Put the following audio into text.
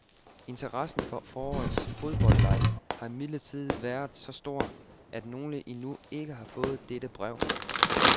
Interessen for forårets fodboldleg har imidlertid været så stor, at nogle endnu ikke har fået dette brev.